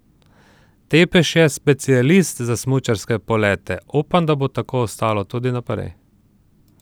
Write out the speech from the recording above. Tepeš je specialist za smučarske polete: "Upam, da bo tako ostalo tudi naprej.